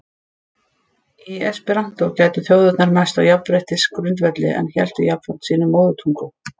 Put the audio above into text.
Í esperantó gætu þjóðirnar mæst á jafnréttisgrundvelli- en héldu jafnframt sínum móðurtungum.